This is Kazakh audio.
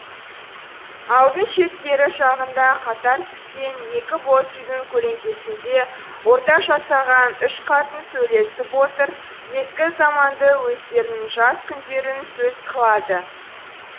ауылдың шеткері жағында қатар тіккен екі боз үйдің көлеңкесінде орта жасаған үш қатын сөйлесіп отыр ескі заманды өздерінің жас күндерін сөз қылады